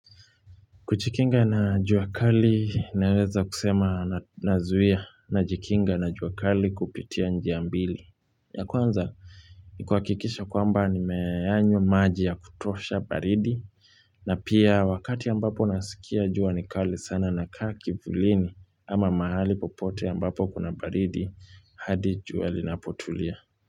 Kujikinga na jua kali naweza kusema nazuia najikinga na juakali kupitia njia mbili. Ya kwanza ni kuhakikisha kwamba nimeyanywa maji ya kutosha baridi na pia wakati ambapo nasikia jua nikali sana nakaa kivulini ama mahali popote ambapo kuna baridi hadi jua linapotulia.